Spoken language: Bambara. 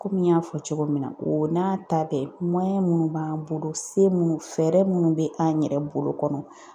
Komi n y'a fɔ cogo min na o n'a ta bɛɛ minnu b'an bolo se minnu fɛɛrɛ minnu bɛ an yɛrɛ bolo kɔnɔ,